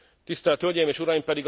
Tisztelt hölgyeim és uraim!